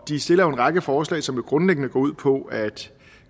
de stiller jo en række forslag som grundlæggende går ud på at